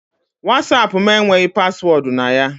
WhatsApp m enweghị paswọọdụ na ya.